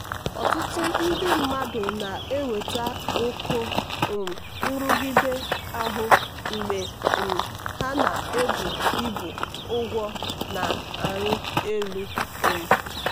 ọtụtụ ndị mmadụ na-enweta oke um nrụgide ahụ mgbe um ha na-ebu ibu ụgwọ na-arị elu. um